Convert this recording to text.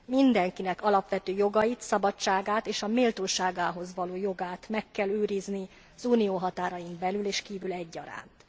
Mindenkinek alapvető jogait, szabadságát és a méltóságához való jogát meg kell őrizni az Unió határain belül és kívül egyaránt.